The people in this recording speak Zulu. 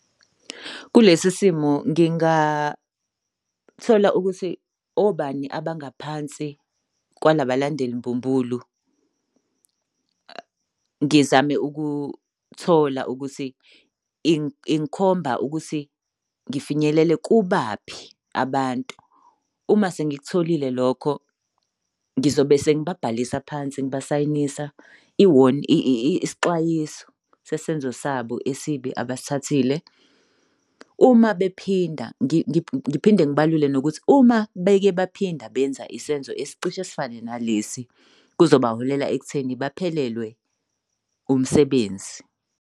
Kulesi simo ngingathola ukuthi obani abangaphansi kwalabalandeli mbumbulu. Ngizame ukuthola ukuthi ingikhomba ukuthi ngifinyelele kubaphi abantu. Uma sengikutholile lokho, ngizobe sengibabhalisa phansi ngibasayinisa isixwayiso sesenzo sabo esibi abasithathile. Uma bephinda, ngiphinde ngibalule nokuthi uma beke baphinda benza isenzo esicishe esifane nalesi kuzoba holela ekutheni baphelelwe umsebenzi.